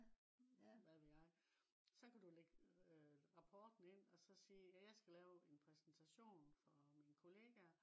hvad ved jeg. Så kan du ligge rapporten ind også sige jeg skal lave en præsentation for mine kollegaer